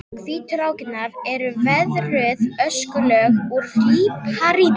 Hvítu rákirnar eru veðruð öskulög úr líparíti.